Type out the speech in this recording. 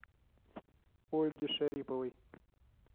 ольги шариповой